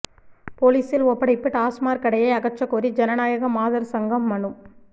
போலீசில் ஒப்படைப்பு டாஸ்மாக் கடையை அகற்றகோரி ஜனநாயக மாதர் சங்கம் மனு